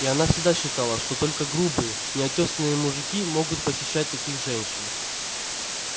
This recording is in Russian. и она всегда считала что только грубые неотёсанные мужики могут посещать таких женщин